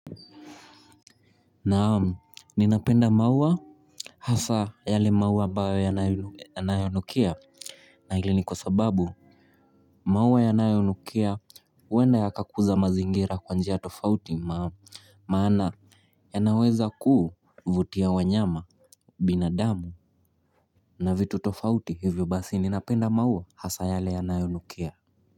Naam, ninapenda maua hasa yale maua ambayo yanayonukia na hili ni kwa sababu maua yanayonukia huenda yakakuza mazingira kwa njia tofauti, maana yanaweza kuvutia wanyama. Binadamu na vitu tofauti hivyo basi ninapenda maua hasa yale yanayonukia.